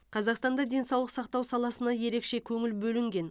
қазақстанда денсаулық сақтау саласына ерекше көңіл бөлінген